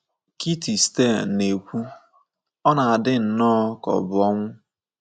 Kitty Stein na - ekwu, “ ọ na - adị nnọọ ka ọ bụ ọnwụ. ”